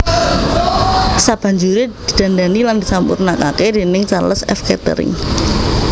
Sabanjuré didandani lan disampurnakaké déning Charles F Kettering